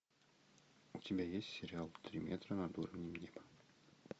у тебя есть сериал три метра над уровнем неба